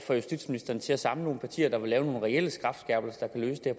for justitsministeren til at samle nogle partier der vil lave nogle reelle strafskærpelser der kan løse det